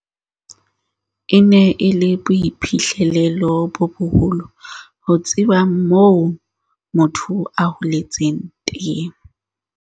"E ne e le boiphihlelo bo boholo ho tseba moo motho a holetseng teng."